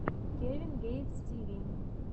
кевин гейтс ти ви